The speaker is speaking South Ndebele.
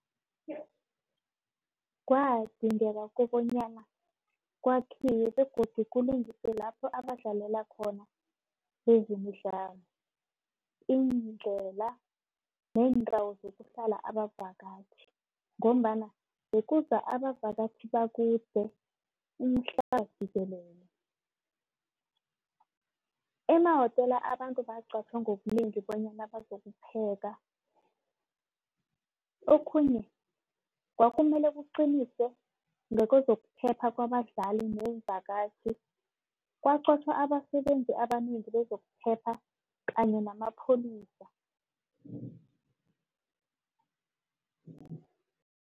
Kwadingeka kobanyana kwakhiwe begodu kulungiswe lapho abadlalela khona bezemidlalo. Iindlela, neendawo zokuhlala abavakatjhi ngombana bekuza abavakatjhi bakude umhlaba jikelele. Emawotela abantu baqatjhwa ngobunengi bonyana bazokupheka. Okhunye kwakumele kuqinisekiswe nakezokuphepha kwabadlali neemvakatjhi. Kwaqatjhwa abasebenzi abanengi bezokuphepha kanye namapholisa.